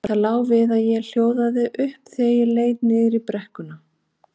Það lá við að ég hljóðaði upp þegar ég leit niður í brekkuna.